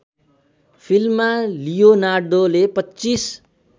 फिल्ममा लियोनार्दोले २५